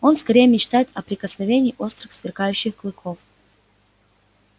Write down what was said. он скорее мечтает о прикосновении острых сверкающих клыков